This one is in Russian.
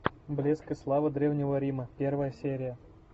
блеск и слава древнего рима первая серия